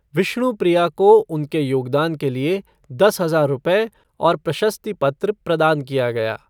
विष्णुप्रिया को उनके योगदान के लिए दस हज़ार रुपए और प्रशस्ति पत्र प्रदान किया गया।